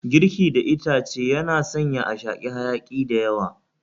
Girki da itace yana sanya a shaki hayaki dayawa